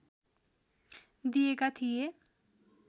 दिएका थिए